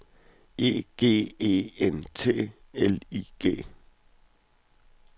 E G E N T L I G